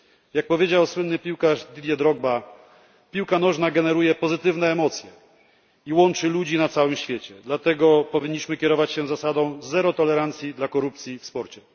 Jak powiedział słynny piłkarz Didier Drogba piłka nożna generuje pozytywne emocje i łączy ludzi na całym świecie dlatego powinniśmy kierować się zasadą zero tolerancji dla korupcji w sporcie.